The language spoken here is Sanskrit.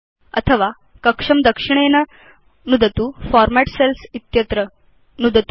अथवा कक्षं दक्षिणेन नुदतु फॉर्मेट् सेल्स् इत्यत्र नुदतु च